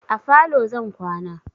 A falo zan kwana.